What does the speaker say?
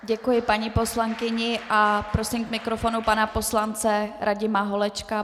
Děkuji paní poslankyni a prosím k mikrofonu pana poslance Radima Holečka.